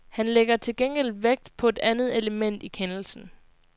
Han lægger til gengæld vægt på et andet element i kendelsen.